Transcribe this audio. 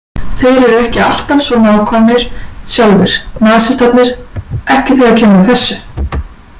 Þeir eru ekki alltaf svo nákvæmir sjálfir, nasistarnir, ekki þegar kemur að þessu